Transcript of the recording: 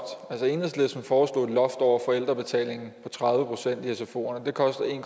enhedslisten foreslog et loft over forældrebetalingen på tredive procent i sfoerne og det koster en